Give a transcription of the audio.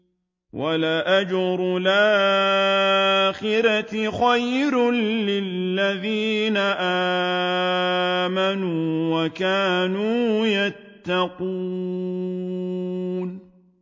وَلَأَجْرُ الْآخِرَةِ خَيْرٌ لِّلَّذِينَ آمَنُوا وَكَانُوا يَتَّقُونَ